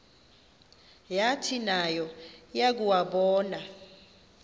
yathi nayo yakuwabona